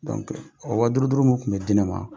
o waduuru waduuru min tun bɛ di ne ma